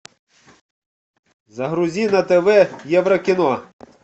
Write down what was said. загрузи на тв еврокино